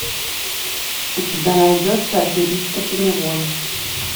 у тебя найдется аферисты поневоле